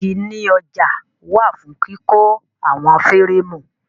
Igi ní ọjà wà fún kíkọ́ àwọn fẹ́rẹ́ẹ̀mù.